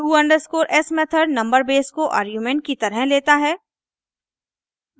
to_s method number base को argument की तरह लेता है